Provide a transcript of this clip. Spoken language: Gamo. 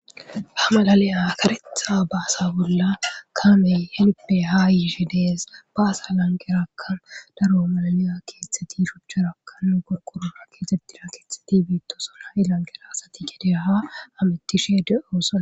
ha malaliya karetha baasa bolla kamey helpe haa yiishe dees ba asa lanqerakan daro malaliya keeththeti shuchcharakan gorkorona keexetina keetheti biittosonha7i lanqera asati gedeaha amittishe de7oosa